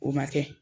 O ma kɛ